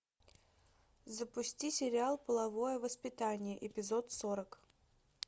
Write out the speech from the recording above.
запусти сериал половое воспитание эпизод сорок